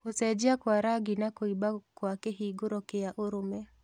Gũcenjia kwa rangi na kũimba kwa kĩhingũro kĩa ũrũme